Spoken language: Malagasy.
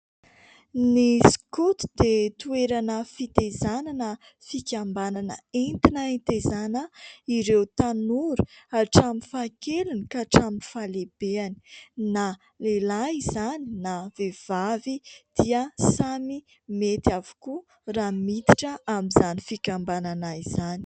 Ny Skoto dia toerana fitaizana na fikambanana entina hitaizana ireo tanora hatramin'ny fahakeliny ka hatramin'ny fahalehibeny ; na lehilahy izany na vehivavy dia samy mety avokoa raha miditra amin'izany fikambanana izany.